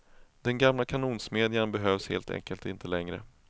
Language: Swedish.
Den gamla kanonsmedjan behövs helt enkelt inte längre.